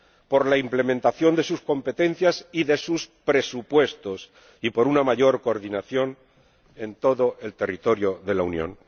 Por la implementación de sus competencias y de sus presupuestos y por una mayor coordinación en todo el territorio de la Unión.